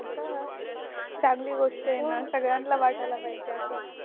हो का चांगली गोष्ट ये ना सगळ्याना वाटायला पाहिजे अस